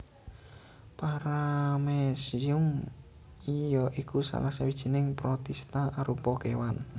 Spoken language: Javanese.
Paramecium ya iku salah sawijining protista arupa kéwan